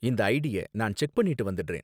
இந்த ஐடிய நான் செக் பண்ணிட்டு வந்திடுறேன்